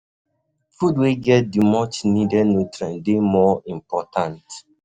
Food wey get the much needed um nutrients dey um more important